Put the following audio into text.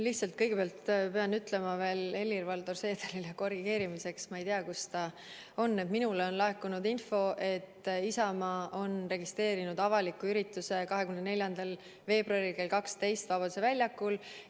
Lihtsalt, kõigepealt pean ütlema veel Helir-Valdor Seederile korrigeerimiseks – ma ei tea, kus ta on –, et minule on laekunud info, et Isamaa on registreerinud avaliku ürituse 24. veebruaril kell 12 Vabaduse väljakul.